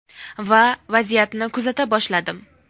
Va vaziyatni kuzata boshladim.